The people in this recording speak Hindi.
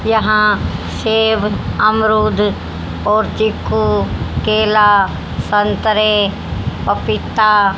यहां सेब अमरूद और चीकू केला संतरे पपीता--